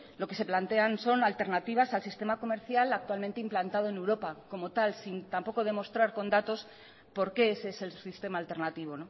lo que se plantean son alternativas al sistema comercial actualmente implantado en europa como tal sin tampoco demostrar con datos por qué ese es el sistema alternativo